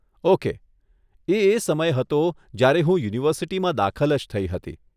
Okay. એ એ સમય હતો જયારે હું યુનિવર્સીટીમાં દાખલ જ થઇ હતી.